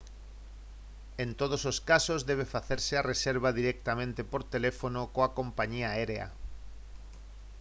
en todos os casos debe facerse a reserva directamente por teléfono coa compañía aérea